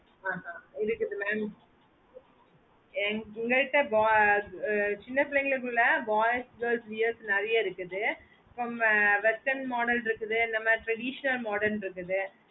அஹ்ஹா உங்களுக்கு இது வேணும் எங்க கிட்ட சின்ன புள்ளைகளுக்குள்ள boys girls wears நேரிய இருக்குது அப்பறோம் western modern dress இந்த மாதிரி tradition modern dress இது